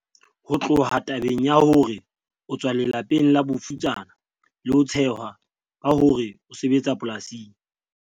Ho tloha tabeng ya hore o tswa lela peng la bofutsana le ho tshehwa ka hore o sebetsa polasing,